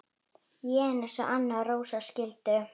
Jens og Anna Rósa skildu.